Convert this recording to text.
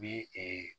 Bi ee